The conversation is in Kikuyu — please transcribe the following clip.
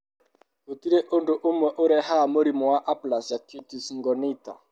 Gũtirĩ ũndũ ũmwe ũrehaga mũrimũ wa aplasia cutis congenita.